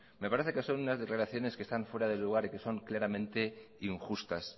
me parece que son unas declaraciones que están fuera de lugar y que son claramente injustas